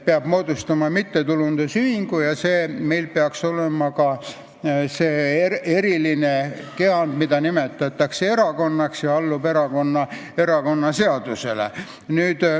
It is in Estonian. Peab moodustama mittetulundusühingu ja peab olema ka see eriline kehand, mida nimetatakse erakonnaks ja mis allub erakonnaseadusele.